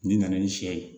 N'i nana ni sɛ ye